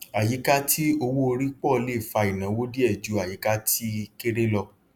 àyíká tí owó orí pọ le fa ìnáwó díẹ ju àyíká tí kéré lọ